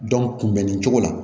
kunbɛnni cogo la